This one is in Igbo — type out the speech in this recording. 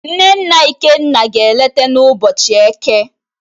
Nne nna Ikenna ga-eleta n'ubochi Eke